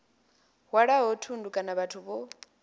hwalaho thundu kana vhathu vho